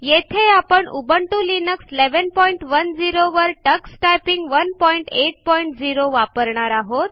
येथे आपण Ubuntu Linux 1110 वर टक्स टायपिंग 180 वापरणार आहोत